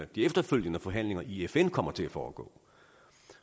de efterfølgende forhandlinger i fn kommer til at foregå